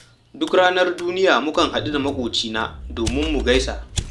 Duk ranar duniya mukan haɗu da maƙocina domin mu gaisa